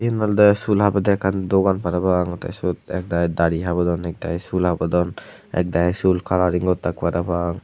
iyan olode sul habede ekkan degong parapang the sut ek dagi dari habondon ek dagi sul habondon ek dagi sul colouring gottak parapang.